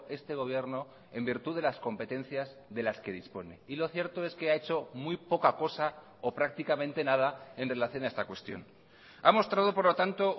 este gobierno en virtud de las competencias de las que dispone y lo cierto es que ha hecho muy poca cosa o prácticamente nada en relación a esta cuestión ha mostrado por lo tanto